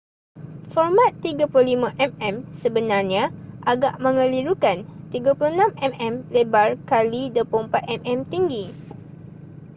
format 35mm sebenarnya agak mengelirukan 36mm lebar kali 24mm tinggi